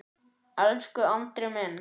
Elsku Andri minn.